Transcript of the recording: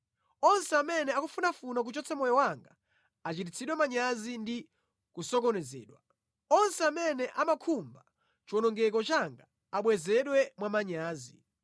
Onse amene akufunafuna kuchotsa moyo wanga achititsidwe manyazi ndi kusokonezedwa; onse amene amakhumba chiwonongeko changa abwezedwe mwamanyazi.